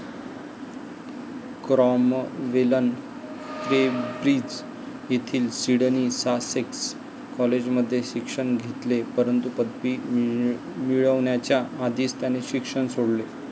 क्रॉम्वेलन Cambridge येथील Sidney Sussex कॉलेजमध्ये शिक्षण घेतले परंतु पदवी मिळवण्याच्या आधीच त्याने शिक्षण सोडले.